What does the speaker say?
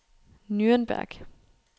Nürnberg